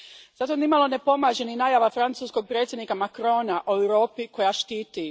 Zato nimalo ne pomaže ni najava francuskog predsjednika Macrona o Europi koja štiti.